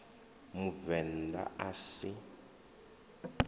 a muvend a a si